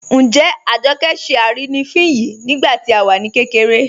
Njẹ́ Àjọkẹ́ ṣẹ́ arínifín yìí nígbàtí à wá kẹkẹ̀rẹ̀?